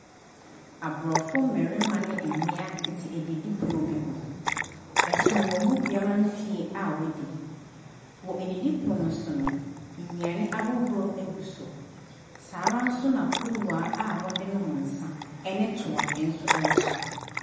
Aborɔfo mmarima ne mmea tete adidipono bi ho. Ɛsono wɔn mu biara mfeɛ a wɔadi. Wɔ didipono no so no, nnuane ahodoɔ gu so. Saa ara nsona kuruwaa a wɔde nom nsa ne toa nso wɔ so.